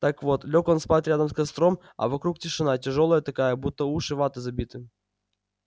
так вот лёг он спать рядом с костром а вокруг тишина тяжёлая такая будто уши ватой забиты